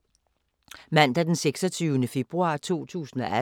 Mandag d. 26. februar 2018